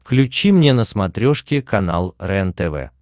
включи мне на смотрешке канал рентв